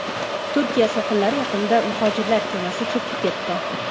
Turkiya sohillari yaqinida muhojirlar kemasi cho‘kib ketdi.